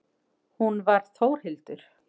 Hún var Þórhildur.